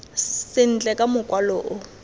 sentle ka mokwalo o o